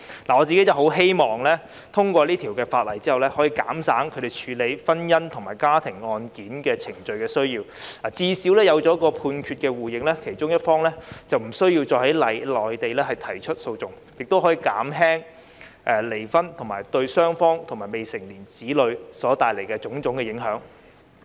我希望《條例草案》通過後，可以減少他們處理婚姻及家庭案件程序的需要；最少有了兩地判決互認安排，其中一方便不用再在內地提出訴訟，亦可減輕離婚對雙方及未成年子女所帶來的影響。